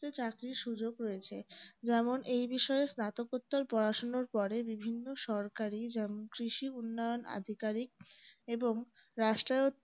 চাকরির সুযোগ হয়েছে যেমন এই বিষয়ে স্নাতকোত্তর পড়াশোনার পরে বিভিন্ন সরকারি যেমন কৃষি উন্নয়ন আধিকারিক এবং রাষ্ট্রায়ত্ত